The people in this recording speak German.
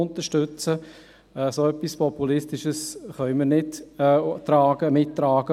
Etwas so Populistisches können wir nicht mittragen.